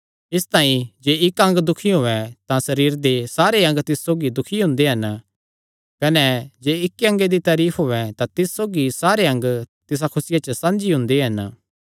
इसतांई जे इक्क अंग दुखी होयैं तां सरीरे दे सारे अंग तिस सौगी दुखी हुंदे हन कने जे इक्की अंगे दी तारीफ होयैं तां तिस सौगी सारे अंग तिसा खुसिया च साझी हुंदे हन